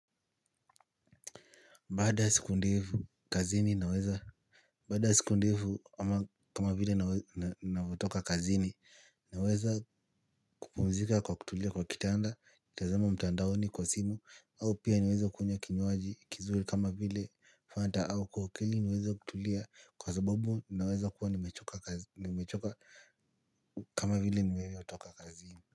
Baada ya siku ndevu kazini naweza. Baada ya siku ndevu kama vile navyotoka kazini naweza kupumzika kwa kutulia kwa kitanda tazama mtandaoni kwa simu au pia niweza kunywa kinywaji kizuri kama vile fanta au kohokeli niweze kutulia kwa sababu naweza kuwa nimechoka kama vile niwewe otoka kazini.